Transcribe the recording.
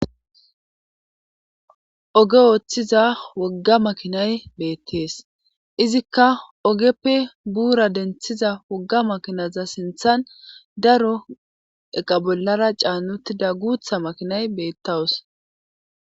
Oge ooththiza wogga makinay beettees izikka ogeppe buura denthiza wogga makinaza sinthan daro eqa bollara caanutida guutha makinay beettawus.